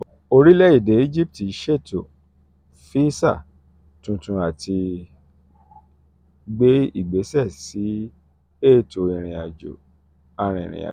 orílẹ̀-èdè egypt ṣètò ètò fíìsà tuntun láti gbé ìgbésẹ̀ sí ètò ìrìn-àjò arìnrìn-àjò